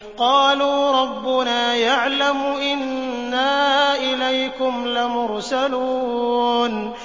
قَالُوا رَبُّنَا يَعْلَمُ إِنَّا إِلَيْكُمْ لَمُرْسَلُونَ